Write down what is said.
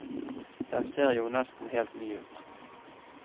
Den ser jo nesten helt ny ut.